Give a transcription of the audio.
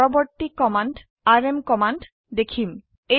আমি পৰবৰ্তী command RM command দেখিম